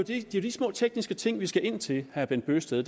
jo de små tekniske ting vi skal ind til herre bent bøgsted